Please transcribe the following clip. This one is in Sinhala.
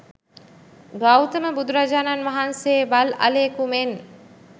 ගෞතම බුදුරජාණන් වහන්සේ වල් අලියෙකු මෙන්